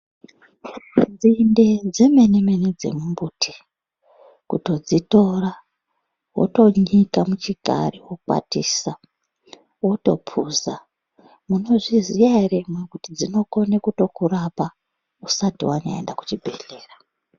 Nzinde dzemene-mene dzemumbuti kutodzitora, wotonyika muchikari, wokwatisa wotophuza, munozviziya ere imwimwi kuti dzinokone kutokurapa usati wanyaenda kuchibhedhlera.